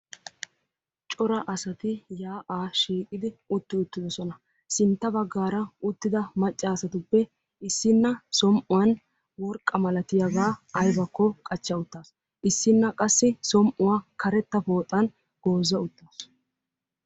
Cora asati yaa'a shiiqidi utti uttidoosona. Sintta baggaara uttida maccasatuppe issina som"uwan worqqa malatiyaaga aybakko qachcha uttaasu, issinna qassi som"uwa karetta pooxan gooza uttaasu.